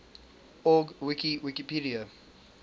org wiki wikipedia